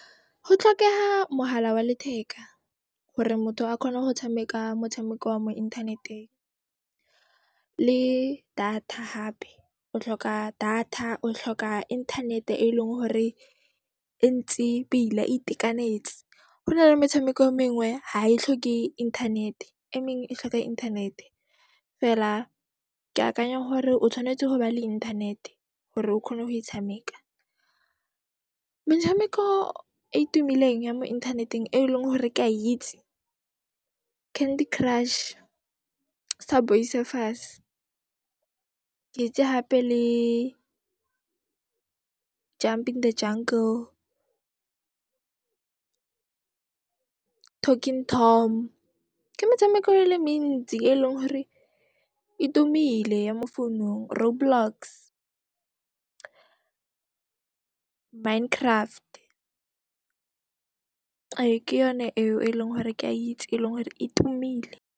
Go tlhokeha mohala wa letheka gore motho a kgone ho tshameka motshameko wa mo inthaneteng le data hape, o tlhoka data, o tlhoka internet e leng hore e ntse pila, e itekanetse. Ho nale metshameko e mengwe ha e tlhoke inthanete, e mengwe e tlhoka inthanete. Feela ke akanya hore o tshwanetse ho ba le inthanete hore o kgone go e tshameka. Metshameko e e tumileng ya mo inthaneteng e leng hore ke a itse, Candy Crush, Subway Surfers. Ke itse hape le Jumping The Jungle, Talking Tom, ke metshameko e le mentsi e leng hore e tumile ya mo founung, Road Blocks, Mine Craft, ee ke yone eo e leng hore ke a itse, e leng hore e tumile.